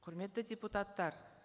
құрметті депутаттар